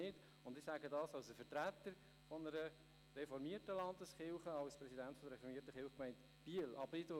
Das sage ich als Vertreter einer reformierten Landeskirche und als Präsident der reformierten Kirchgemeinde Biel.